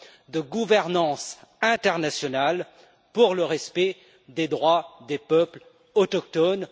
de gouvernance internationale pour le respect des droits des peuples autochtones.